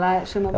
Lá chama